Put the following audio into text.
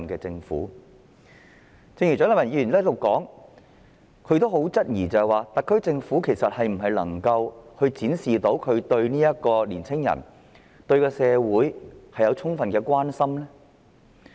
蔣麗芸議員剛才在此質疑，特區政府能否展示自己對年輕人和社會有充分的關懷呢？